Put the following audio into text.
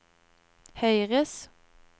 høyres